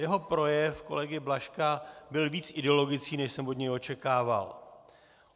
Jeho projev, kolegy Blažka, byl víc ideologický, než jsem od něj očekával.